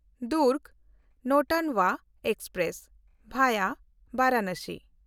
Durg Nautanwa express (via Varanasi)